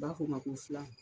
U b'a fɔ o ma ko filan.